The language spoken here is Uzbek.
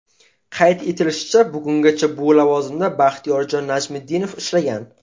Qayd etilishicha, bugungacha bu lavozimda Baxtiyorjon Najmiddinov ishlagan.